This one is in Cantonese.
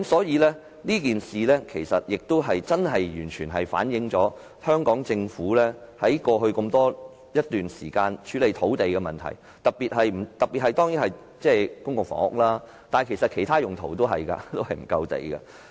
這件事情真的完全反映香港政府在過去一段時間處理土地的問題，特別是沒有提供足夠土地興建公共房屋，其實也沒有提供足夠土地作其他用途。